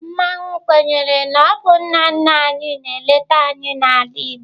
Mmanwu kwenyere na ọ bụ nna nna anyị na-eleta anyị n'ala Igbo.